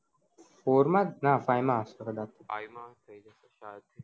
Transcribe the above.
four માં ના five માં કદાચ five